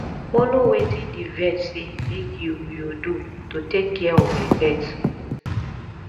follow wetin di vet sey make you you do to take care of di pet